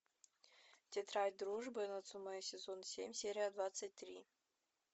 тетрадь дружбы нацумэ сезон семь серия двадцать три